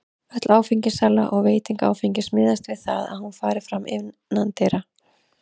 Öll áfengissala og veiting áfengis miðast við það að hún fari fram innandyra.